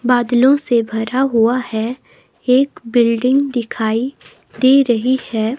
बादलों से भरा हुआ है एक बिल्डिंग दिखाई दे रही है.